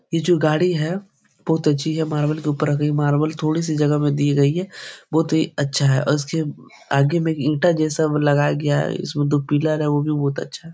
ये जो गाड़ी है बहुत अच्छी है मार्वल के ऊपर रखी है मार्वल थोड़ी सी जगह में दिए गयी है बहुत ही अच्छा है और इसके आगे में ईंटा जैसा लगाया गया है इसमें दो पिलर है वो भी बहुत अच्छा है।